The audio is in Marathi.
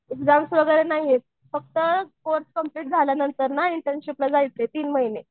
एक्झाम्स वगैरे नाहीयेत फक्त कोर्स कम्प्लिट झाल्यानंतर ना इन्टर्नशिपला जायचं आहे तीनमहिने.